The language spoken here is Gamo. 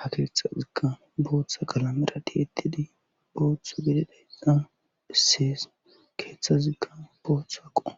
ha keeththazikka booththa kalamera tiitidi booththo gididayssa bissees keeththazikka booththa aqo